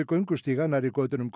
göngustíga nærri götunum